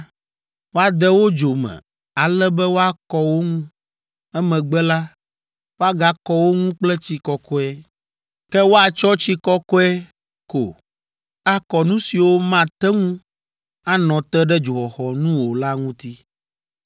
woade wo dzo me ale be woakɔ wo ŋu. Emegbe la, woagakɔ wo ŋu kple tsi kɔkɔe. Ke woatsɔ tsi kɔkɔe ko akɔ nu siwo mate ŋu anɔ te ɖe dzoxɔxɔ nu o la ŋuti.’